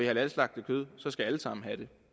halalslagtet kød så skal alle sammen have det